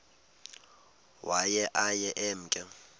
waye aye emke